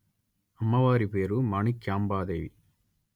అమ్మవారి పేరు మాణిక్యాంబా దేవి